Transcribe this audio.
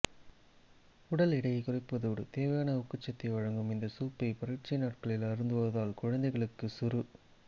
உடல் எடையைக் குறைப்பதோடு தேவையான ஊக்கச் சத்தையும் வழங்கும் இந்த சூப்பை பரீட்சை நாட்களில் அருந்திவந்தால் குழந்தைகளுக்கு சுறு